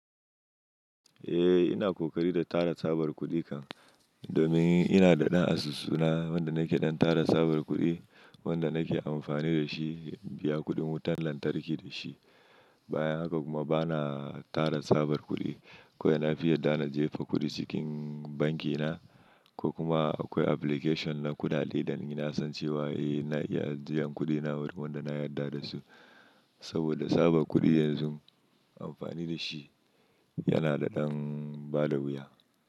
Eh ina ƙoƙari da tara tsabar kuɗi kan domin ina da ɗan asusu na wanda nake ɗan tara tsabar kuɗi wanda nake amfani da shi biya kuɗin wutan lantarki da shi. Bayan haka kuma bana tara tsabar kuɗi ko ina fiye dana jefa kuɗi cikin banki na ko kuma akwai application na kuɗaɗe da ina son cewa eh na iya ajiyan kuɗina wurin wanda na yarda da su. Saboda tsabar kuɗi yanzu amfani da shi yana da ɗan bada wuya.